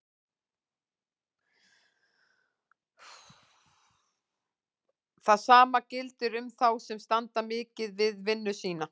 Það sama gildir um þá sem standa mikið við vinnu sína.